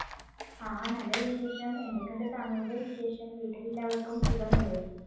ആ നല്ല വിശേഷം. എന്തൊക്കെയുണ്ട് താങ്കളുടെ വിശേഷം? വീട്ടിൽ എല്ലാവർക്കും സുഖമല്ലേ?